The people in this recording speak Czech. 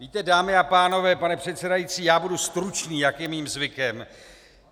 Víte, dámy a pánové - pane předsedající, já budu stručný, jak je mým zvykem.